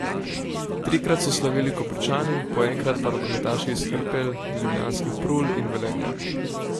Trikrat so slavili Koprčani, po enkrat pa rokometaši iz Hrpelj, ljubljanskih Prul in Velenja.